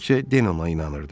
Təkcə Den ona inanırdı.